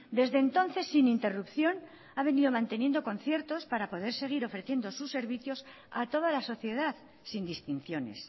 desde entonces sin interrupción ha venido manteniendo conciertos para poder seguir ofreciendo sus servicios a toda la sociedad sin distinciones